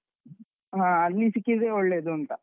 ಹಾ ಅಲ್ಲಿ ಸಿಕ್ಕಿದ್ರೆ ಒಳ್ಳೇದೂಂತ.